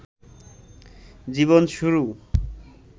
জীবন শুরু